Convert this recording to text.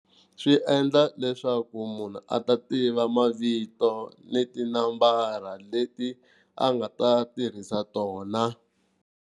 Swi endla leswaku munhu a ta tiva mavito ni tinambara leti a nga ta tirhisa tona.